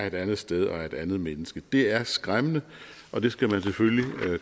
et andet sted og er et andet menneske det er skræmmende og det skal man selvfølgelig